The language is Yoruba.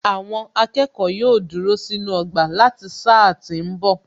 Àwọn akẹ́kọ̀ọ́ yóò dúró sínú ọgbà láti sáà tí ń bọ̀